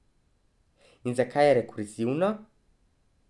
In zakaj rekurzivno?